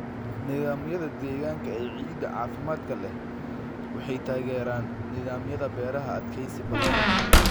Nidaamyada deegaanka ee ciidda caafimaadka leh waxay taageeraan nidaamyada beeraha adkeysi badan leh.